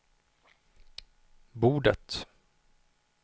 bordet